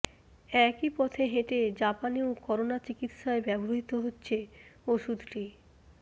একই পথে হেঁটে জাপানেও করোনা চিকিৎসায় ব্যবহৃত হচ্ছে ওষুধটি